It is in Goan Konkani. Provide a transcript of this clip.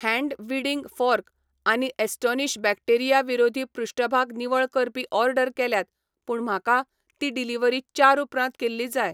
हैन्ड वीडिंग फॉर्क आनी ॲस्टोनिश बॅक्टेरिया विरोधी पृष्ठभाग निवळ करपी ऑर्डर केल्यात पूण म्हाका ती डिलिव्हरी चार उपरांत केल्ली जाय.